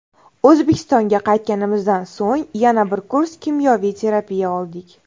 O‘zbekistonga qaytganimizdan so‘ng yana bir kurs kimyoviy terapiya oldik.